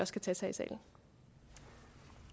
skal tages